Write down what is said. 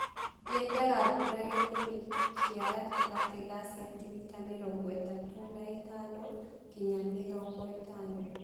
Yendaga mbura gĩthimo kĩa gatagatĩ ga centimita mĩrongo ĩtatu na ĩtano nginya mĩrongo ĩtano.